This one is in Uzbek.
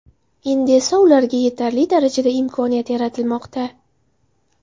Endi esa ularga yetarli darajada imkoniyat yaratilmoqda.